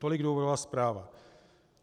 Tolik důvodová zpráva.